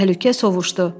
Təhlükə sovuşdu.